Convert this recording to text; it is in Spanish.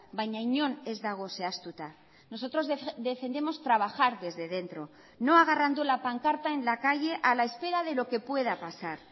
baina inon ez dago zehaztuta nosotros defendemos trabajar desde dentro no agarrando la pancarta en la calle a la espera de lo que pueda pasar